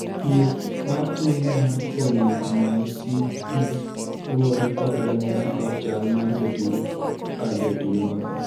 thieth mar tuo mar polymyositis luwore kod ranyisi kod chal ma jatuo ka jatuo nigodo